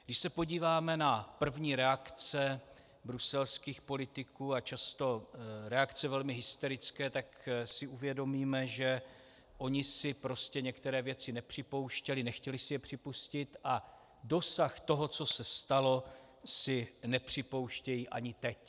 Když se podíváme na první reakce bruselských politiků, a často reakce velmi hysterické, tak si uvědomíme, že oni si prostě některé věci nepřipouštěli, nechtěli si je připustit a dosah toho, co se stalo, si nepřipouštějí ani teď.